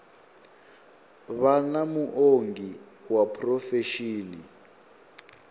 vha na muongi wa phurofesheni